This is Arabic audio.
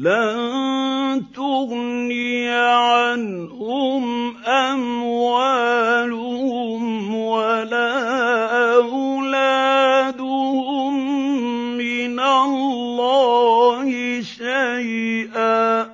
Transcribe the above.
لَّن تُغْنِيَ عَنْهُمْ أَمْوَالُهُمْ وَلَا أَوْلَادُهُم مِّنَ اللَّهِ شَيْئًا ۚ